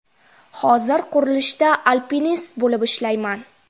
Hozir qurilishda alpinist bo‘lib ishlayman.